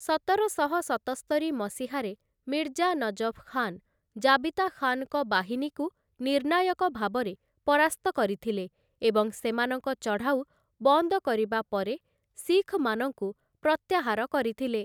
ସତରଶହ ସତସ୍ତରି ମସିହାରେ ମିର୍ଜା ନଜଫ୍‌ ଖାନ୍‌ ଜାବିତା ଖାନଙ୍କ ବାହିନୀକୁ ନିର୍ଣ୍ଣାୟକ ଭାବରେ ପରାସ୍ତ କରିଥିଲେ ଏବଂ ସେମାନଙ୍କ ଚଢ଼ାଉ ବନ୍ଦ କରିବା ପରେ ଶିଖମାନଙ୍କୁ ପ୍ରତ୍ୟାହାର କରିଥିଲେ ।